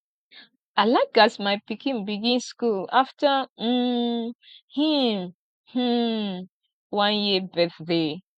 i like as my pikin begin skool afta um him um one year birthday